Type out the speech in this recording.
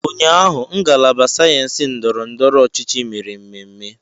Ụnyahụ, ngalaba sayensị ndọrọ ndọrọ ọchịchị mere mmemme.